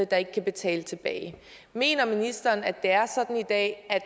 der ikke kan betale tilbage mener ministeren at det er sådan i dag at